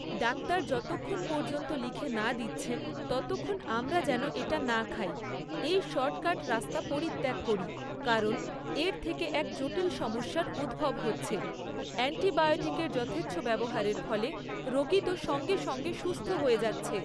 Doctor যতক্ষণ পর্যন্ত লিখে না দিচ্ছেন, ততক্ষণ আমরা যেন এটা না খাই, এই শর্টকাট রাস্তা পরিত্যাগ করি, কারণ এর থেকে এক জটিল সমস্যার উদ্ভব হচ্ছে, অ্যান্টিবায়োটিকের যথেচ্ছ ব্যবহারের ফলে রোগী তো সঙ্গে সঙ্গে সুস্থ হয়ে যাচ্ছে।